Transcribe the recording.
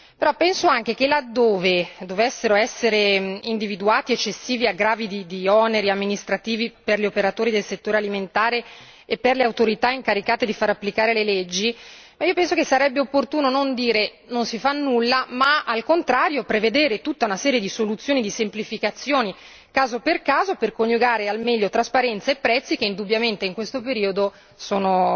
Però penso anche che, laddove dovessero essere individuati eccessivi aggravi di oneri amministrativi per gli operatori del settore alimentare e per le autorità incaricate di fare applicare le leggi, sarebbe opportuno non dire che non si fa nulla, ma al contrario prevedere tutta una serie di soluzioni e di semplificazioni caso per caso per coniugare al meglio trasparenza e prezzi che indubbiamente in questo periodo sono